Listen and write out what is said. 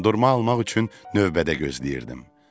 Dondurma almaq üçün növbədə gözləyirdim.